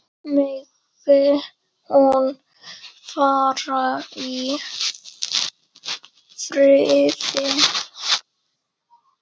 Megi hún fara í friði.